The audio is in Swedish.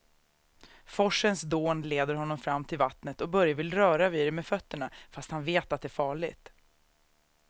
Forsens dån leder honom fram till vattnet och Börje vill röra vid det med fötterna, fast han vet att det är farligt.